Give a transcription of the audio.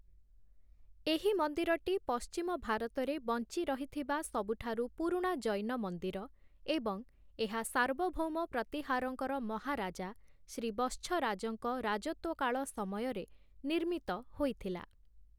ଏହି ମନ୍ଦିରଟି ପଶ୍ଚିମ ଭାରତରେ ବଞ୍ଚି ରହିଥିବା ସବୁଠାରୁ ପୁରୁଣା ଜୈନ ମନ୍ଦିର, ଏବଂ ଏହା ସାର୍ବଭୌମ ପ୍ରତିହାରଙ୍କର ମହାରାଜା ଶ୍ରୀ ବତ୍ସରାଜଙ୍କ ରାଜତ୍ଵକାଳ ସମୟରେ ନିର୍ମିତ ହୋଇଥିଲା ।